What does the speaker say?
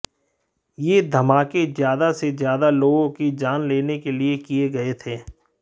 यह धमाके ज्यादा से ज्यादा लोगों की जान लेने के लिए किए गए थे